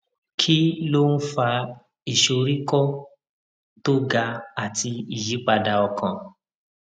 kí ló ń fa ìsoríkó tó ga àti ìyípadà ọkàn